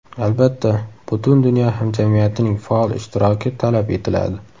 Albatta, butun dunyo hamjamiyatining faol ishtiroki talab etiladi.